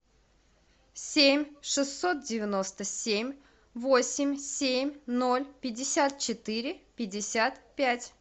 семь шестьсот девяносто семь восемь семь ноль пятьдесят четыре пятьдесят пять